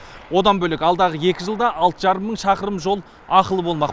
одан бөлек алдағы екі жылда алты жарым мың шақырым жол ақылы болмақ